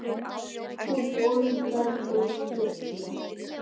Hún ólgar og bullar.